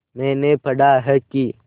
मैंने पढ़ा है कि